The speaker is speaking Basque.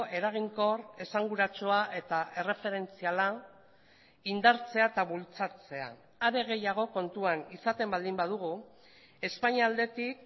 eraginkor esanguratsua eta erreferentziala indartzea eta bultzatzea are gehiago kontuan izaten baldin badugu espainia aldetik